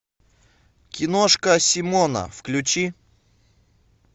киношка симона включи